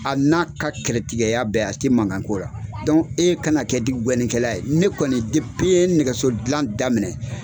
A n'a ka kɛlɛtigɛya bɛɛ a ti mankan ko la, e kana kɛ ye, ne kɔni n ye nɛgɛso gilan daminɛ